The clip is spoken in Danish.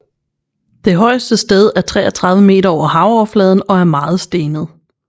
Det højeste sted er 33 meter over havoverfladen og er meget stenet